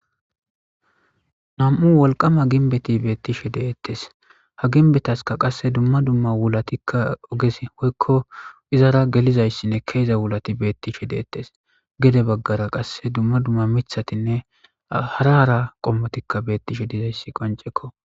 Na'mu woliqama ginbeti beettishe deettes ha ginbetaska qasse dumma dumma wulatikka oges hoykko izara gelizayssinne keeza wulati beettishe deettes gede baggara qasse dumma dumma mithatinne hara ara qommotikka beettishe dizayssi qonicekko